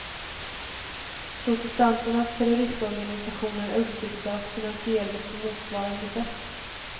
Protestanternas terrororganisationer är uppbyggda och finansierade på motsvarande sätt.